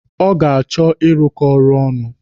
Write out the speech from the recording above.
Ọ ga-achọ ịrụkọ ọrụ ọnụ.